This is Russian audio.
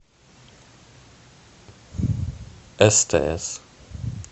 стс